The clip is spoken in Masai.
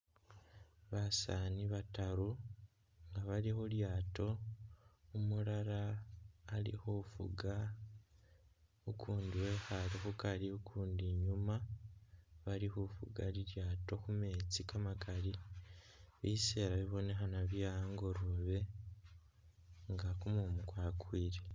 Basaani bataru nga bali khu lyaato umulala ali khufuga, ukundi wekhaale khukari ukundi inyuuma bali khufuga lilyaato khu meetsi kamakali, biseela bibonekhana bye angolobe nga kumumu kwakwile.